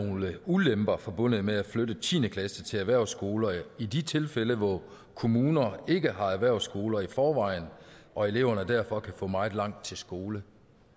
nogle ulemper forbundet med at flytte tiende klasse til erhvervsskoler i de tilfælde hvor kommuner ikke har erhvervsskoler i forvejen og elever derfor kan få meget langt til skole